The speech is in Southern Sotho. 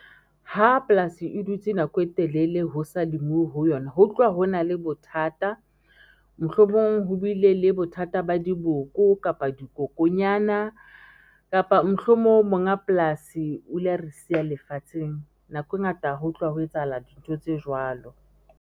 Ha polasi e dutse nako e telele, ho sa lemuwe ho yona, ho tloha ho na le bothata, mohlomong ho bile le bothata ba diboko kapa dikokonyana, kapa mohlomong monga polasi o ile a re siya lefatsheng. Nako e ngata ho tloha ho etsahala dintho tse jwalo.